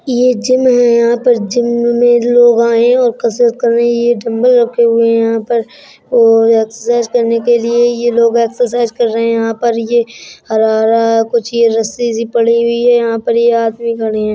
ये जिम है यहाँ पर जिम में लोग आए हैं और कसरत कर रहे हैं। ये डंबल में रखे हुए हैं यहाँ पर और एक्सरसाइज करने के लिए यह लोग एक्सरसाइज कर रहे हैं यहाँ पर ये हरा-हरा कुछ ये रस्सी सी पड़ी हुई है। यहाँ पर ये आदमी खड़े हैं।